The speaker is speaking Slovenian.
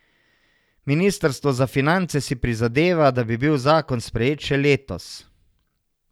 Ministrstvo za finance si prizadeva, da bi bil zakon sprejet še letos.